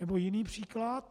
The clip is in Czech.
Nebo jiný příklad.